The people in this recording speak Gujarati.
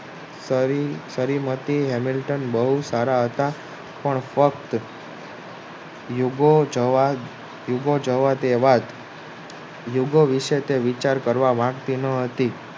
બવ સારા હતા પણ યુગો જવા તેવા યુગો વિશે તે વિચાર કરવા માંગતી તે ના હતી